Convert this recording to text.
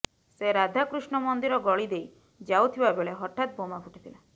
ସେ ରାଧାକୃଷ୍ଣ ମନ୍ଦିର ଗଳି ଦେଇ ଯାଉଥିବାବେଳେ ହଠାତ୍ ବୋମା ଫୁଟିଥିଲା